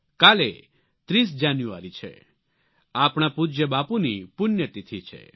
કાલે 30 જાન્યુઆરી છે આપણા પૂજ્ય બાપુની પુણ્યતિથિ છે